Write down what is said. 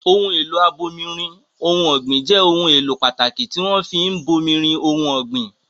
Ohun èlò abomirin ohun ọ̀gbìn jẹ́ ohun èlò pàtàkì tí wọ́n fi ń bomirin ohun ọ̀gbìn.